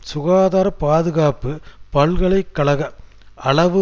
சுகாதார பாதுகாப்பு பல்கலை கழக அளவு